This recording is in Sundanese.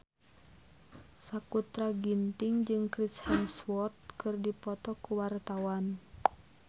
Sakutra Ginting jeung Chris Hemsworth keur dipoto ku wartawan